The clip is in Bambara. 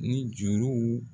Ni juruw